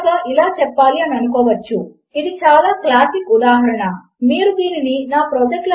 మనము యూజర్నేమ్ మరియు పాస్వర్డ్ అని చెపుతున్నాము160 నిజమునకు యూజర్నేమ్ తప్పకుండా ఉంటుంది కనుక అది తనంత తానే నిజమైనది